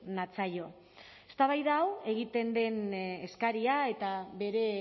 natzaio eztabaida hau egiten den eskaria eta bere